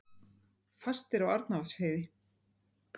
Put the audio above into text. Fastir á Arnarvatnsheiði